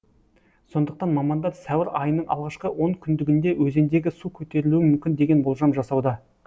сондықтан мамандар сәуір айының алғашқы он күндігінде өзендегі су көтерілуі мүмкін деген болжам жасауда